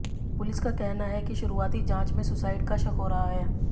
police का कहना है कि शुरुआती जांच में सुसाइड का शक हो रहा है